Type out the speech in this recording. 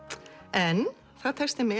en það tekst þeim með